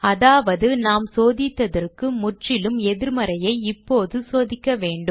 அதாவது நாம் சோதித்ததற்கு முற்றிலும் எதிர்மறையை இப்போது சோதிக்க வேண்டும்